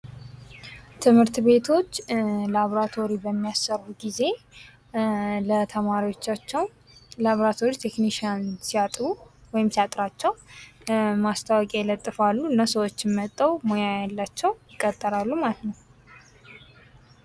ትምህርትቤቶች ላቦራቶሪ በሚያሰሩ ጊዜ ለተማሪወቻቸው ላቦራቶሪ ተክኒሽያን ሲያጡ ወይም ሲያጥራቸው ማስታወቂያ ይለጥፋሉ እና ሰወችም መጥተው ሙያ ያላቸው ይቀጠራሉ ማለት ነው።